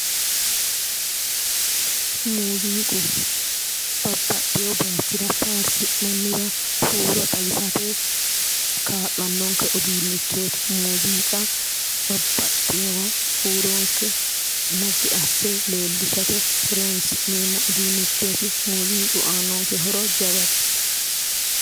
Muziiqu babbaxeyo bayichira faarsi'nanniwa huuro xawisate kaa'lanonke uduunichoti ,muziiqa babbaxeyowa huuronke naggi asse leellishate horonsi'neemmo uduunichoti ,muziiqu aanonke horo jawate.